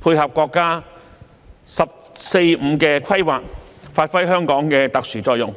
配合國家"十四五"規劃，發揮香港的特殊作用。